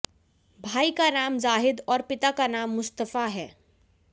भार्इ का नाम जाहिद आैर पिता का नाम मुस्तफा है